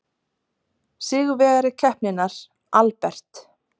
Sigurvegari keppninnar, Albert